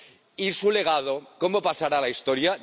Y su legado, ¿cómo pasará a la historia?